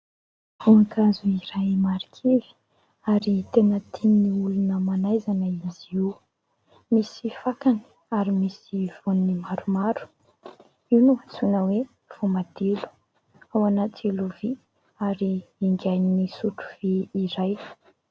Voankazo iray marikivy ary tena tian'ny olona manaizana izy io, misy fakany ary misy voany maromaro. Io no atsoina hoe voamadilo. Ao anaty lovia ary ingain'ny sotro vy iray.